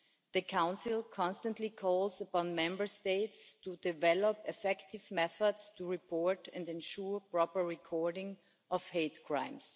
The Council constantly calls upon Member States to develop effective methods to report and ensure proper recording of hate crimes.